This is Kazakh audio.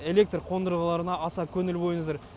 электр қондырғыларына аса көңіл бөліңіздер